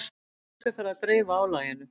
Fólk er farið að dreifa álaginu